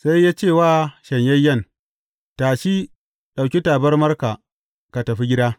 Sai ya ce wa shanyayyen, Tashi, ɗauki tabarmarka ka tafi gida.